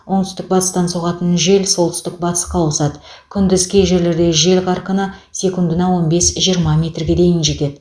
оңтүстік батыстан соғатын жел солтүстік батысқа ауысады күндіз кей жерлерде жел қарқыны секундына он бес жиырма метрге дейін жетеді